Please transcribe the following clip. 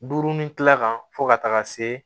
Duuru ni kila kan fo ka taga se